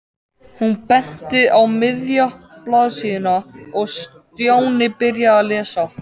Hún benti á miðja blaðsíðuna og Stjáni byrjaði að lesa.